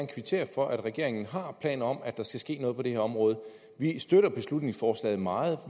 kvittere for at regeringen har planer om at der skal ske noget på det her område vi støtter beslutningsforslaget meget